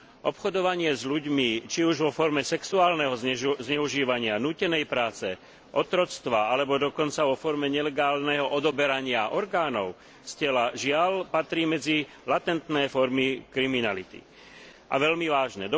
Obchodovanie s ľuďmi, či už vo forme sexuálneho zneužívania, nútenej práce, otroctva alebo dokonca vo forme nelegálneho odoberania orgánov z tela žiaľ patrí medzi latentné formy kriminality, a veľmi vážne.